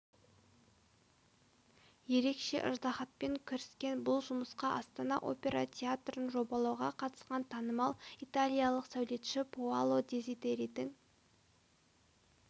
ерекше ыждаһатпен кіріскен бұл жұмысқа астана опера театрын жобалауға қатысқан танымал италиялық сәулетші паоло дезидеридің